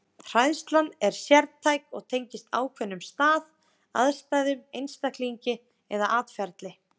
Hræðsla er sértæk og tengist ákveðnum stað, aðstæðum, einstaklingi eða atferli.